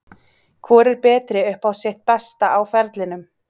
Hvor er betri upp á sitt besta á ferlinum?